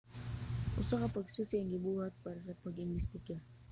usa ka pagsusi ang gibuhat para sa pag-imbestiga